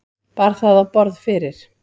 Bar það á borð fyrir